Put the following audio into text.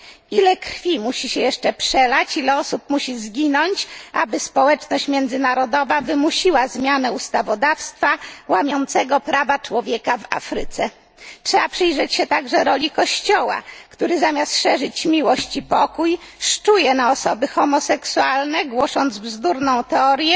Ile krwi musi się jeszcze przelać, ile osób musi zginąć, aby społeczność międzynarodowa wymusiła zmianę ustawodawstwa łamiącego prawa człowieka w Afryce? Trzeba przyjrzeć się także roli Kościoła, który zamiast szerzyć miłość i pokój, szczuje na osoby homoseksualne, głosząc bzdurną teorię,